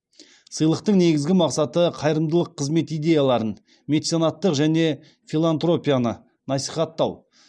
сыйлықтың негізгі мақсаты қайырымдылық қызмет идеяларын меценаттық және филантропияны насихаттау